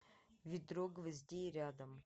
ведро гвоздей рядом